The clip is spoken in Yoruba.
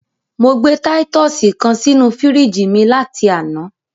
Mo gbé títùsì kan sínú fíríjì mi láti àná.